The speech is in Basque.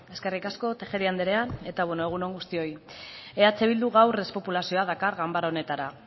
eskerrik asko tejeria andrea eta beno egun on guztioi eh bilduk gaur despopulazioa dakar ganbara honetara